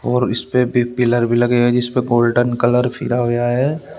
और इस पे भी पिलर भी लगे हैं जिसपे गोल्डन कलर फिरा होया है।